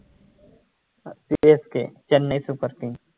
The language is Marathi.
CSK Chennai super king